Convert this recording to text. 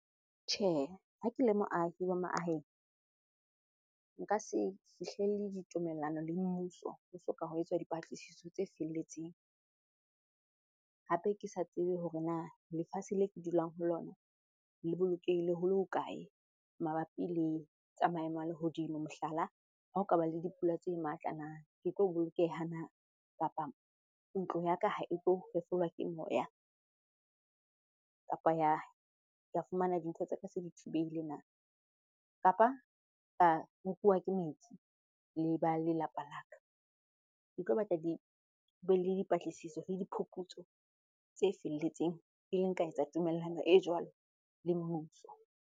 Tjhe, ha ke le moahi wa maaheng, nka se fihlelle ditumellano le mmuso ho soka ho etswa dipatlisiso tse felletseng. Hape ke sa tsebe hore na lefatshe le ke dulang ho lona le bolokehile ho le hokae? Mabapi le tsa maemo a lehodimo. Mohlala, ha o kaba le dipula tse matla na ke tlo bolokeha na? Kapa ntlo ya ka ha e tlo fefolwa ke moya kapa ya fumana dintho tsa ka se dithubehile na? Kapa ka nkuwa ke metsi le ba lelapa la ka. Ke tlo batla be le dipatlisiso le diphuputso tse felletseng pele nka etsa tumellano e jwalo le mmuso.